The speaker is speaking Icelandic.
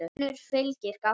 önnur fylgir gáta